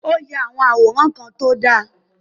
O ya awọn àwòrán kàn ti o da